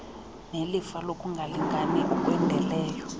nelifa lokungalingani okwendeleyo